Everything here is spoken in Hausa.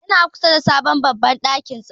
Ya na kusa da sabon babban ɗakin taron.